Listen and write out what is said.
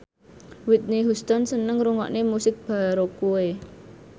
Whitney Houston seneng ngrungokne musik baroque